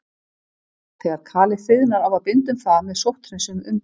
Þegar kalið þiðnar á að binda um það með sótthreinsuðum umbúðum.